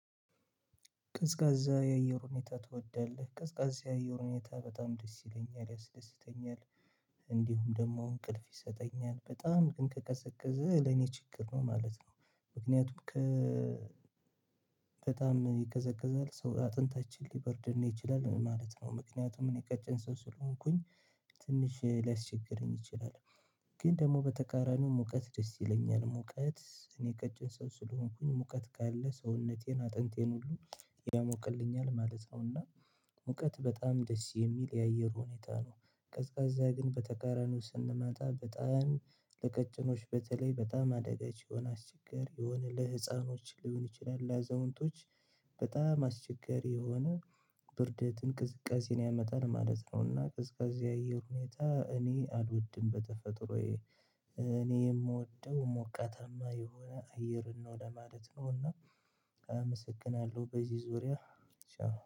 ቅዝቃዜ የአየር ሁኔታ ትወዳለህ ቅዝቃዜ የአየር ሁኔታ በጣም ደስ ይለኛል ያስደስተኛል። እንዲሁም ደግሞ እንቅልፍ ይሰጠኛል በጣም ግን ከቀዘቀዘ ለኔ ችግር ነው ማለት ነው። ምክንያቱም ከ በጣም ይከዘከዛል ሰው አጥንታችን ሊበርድን ይችላል ማለት ነው። ምክንያቱም እኔ ቀጭን ሰው ስለሆንኩኝ። ትንሽ ላይስ ችግረኝ እችላለሁ ግን ደግሞ በተቃራኒው ሙቀት ደስ ይለኛል ሙቀት እኔ ከጭን ሰው ስለሆንኩኝ ሙቀት ካለ ሰውነቴን አጥንቴን ሁሉ። ያሞቅልኛል ማለት አዎና። ሙቀት በጣም ደስ የሚል የአየር ሁኔታ ነው። ቀዝቃዛ ግን በተቃራኒው ስንመጣ በጣም ለቀጭኖች በተለይ በጣም አደጋች የሆነ አስቸጋሪ የሆነ ለህፃኖች ሊሆን ይችላል ለዘውንቶች። በጣም አስቸጋሪ የሆነ ብርደትን ቅዝቃዜን ያመጣል ማለት ነውና። ቅዝቀዜ ያየው ሁኔታ እኔ አልወድም በተፈጥሮዬ። እኔ የምወደው ሞቃተማ የሆነ አየር ነው ለማለት ነው። እና አመሰግናለሁ በዚህ ዙሪያ። ቻው